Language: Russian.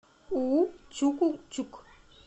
уу чуку чук